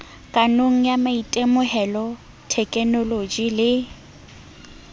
kahong ya maitemohelo thekenoloje le